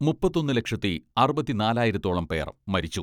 മുപ്പത്തൊന്ന് ലക്ഷത്തി അറുപത്തിനാലായിരത്തോളം പേർ മരിച്ചു.